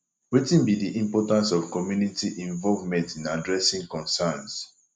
wetin be di importance of community involvement in addressing concerns